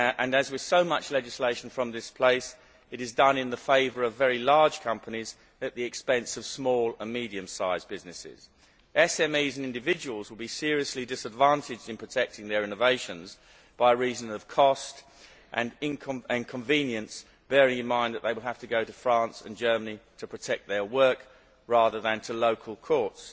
As with so much legislation from this place, this is being done in favour of very large companies at the expense of small and medium sized businesses. SMEs and individuals will be seriously disadvantaged in protecting their innovations, by reason of cost and inconvenience, bearing in mind that they will have to go to France and Germany to protect their work rather than to local courts.